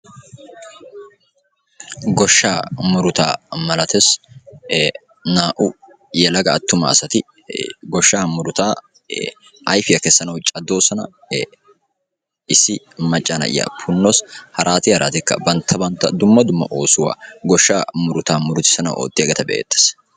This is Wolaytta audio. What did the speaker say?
goshshaa muruta malatees; naa"u yelaga attumassati goshsha muruta ayfiya kessanaw caddoossona issi macca na'iya punnawus harati haratikka bantta bantta dumma dumma oosuwaa goshsha muruta murutissanaw oottiyageeta be"ettees.